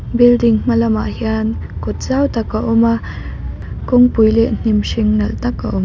building hmalam ah hian kawt zau tak a awm a kawng pui hnimhring nalh tak a awm.